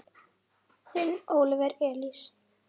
Þinn Óliver Elís.